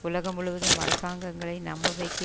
உலகம் முழுவதும் அரசாங்கங்களை நம்ப வைக்க